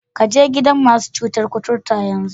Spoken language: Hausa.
Ka je gidan masu cutar koturta yanzu!